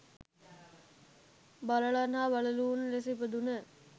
බල්ලන් හා බළලූන් ලෙස ඉපදුන